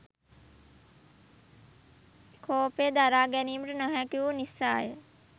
කෝපය දරා ගැනීමට නොහැකිවූ නිසාය.